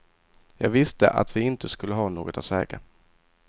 Jag visste att vi inte skulle ha något att säga.